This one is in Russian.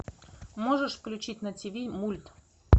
можешь включить на тв мульт